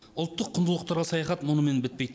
ұлттық құндылықтарға саяхат мұнымен бітпейді